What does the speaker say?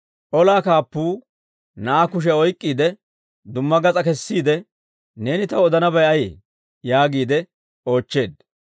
Olaa kaappuu na'aa kushiyaa oyk'k'iide, dumma gas'aa kessiide, «Neeni taw odanabay ayee?» yaagiide oochcheedda.